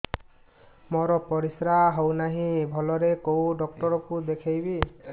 ମୋର ପରିଶ୍ରା ହଉନାହିଁ ଭଲରେ କୋଉ ଡକ୍ଟର କୁ ଦେଖେଇବି